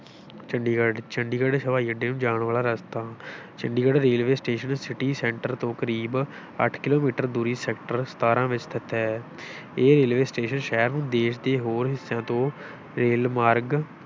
ਚੰਡੀਗੜ੍ਹ, ਚੰਡੀਗੜ੍ਹ ਹਵਾਈ ਅੱਡੇ ਨੂੰ ਜਾਣ ਵਾਲਾ ਰਸਤਾ Chandigarh railway station city center ਤੋਂ ਕਰੀਬ ਅੱਠ ਕਿੱਲੋਮੀਟਰ ਦੂਰੀ sector ਸਤਾਰਾਂ ਵਿੱਚ ਸਥਿਤ ਹੈ ਇਹ ਰੇਲਵੇ ਸਟੇਸ਼ਨ ਸ਼ਹਿਰ ਨੂੰ ਦੇਸ਼ ਦੇ ਹੋਰ ਹਿੱਸਿਆਂ ਤੋਂ ਰੇਲਮਾਰਗ